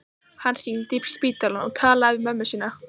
Hann hringdi í spítalann og talaði við mömmu sína.